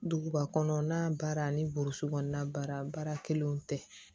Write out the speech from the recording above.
Duguba kɔnɔ n'a baara ani boroso kɔnɔna baara baara kelenw tɛ